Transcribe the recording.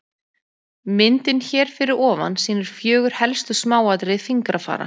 Myndin hér fyrir ofan sýnir fjögur helstu smáatriði fingrafara.